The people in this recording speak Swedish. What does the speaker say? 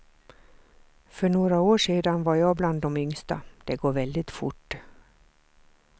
För några år sedan var jag bland de yngsta, det går väldigt fort.